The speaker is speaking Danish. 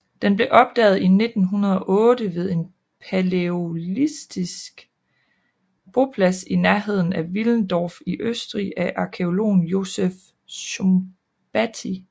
Den blev opdaget i 1908 ved en palæolitisk boplads i nærheden af Willendorf i Østrig af arkæologen Josef Szombathy